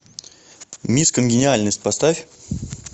мисс конгениальность поставь